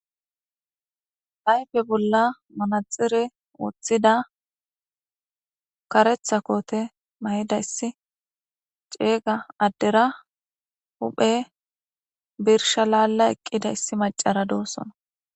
Ayfe bolla manaxire woththida karetha koote mayida issi ceeyga addera huphe birsha laalla eqqida issi macara doossona.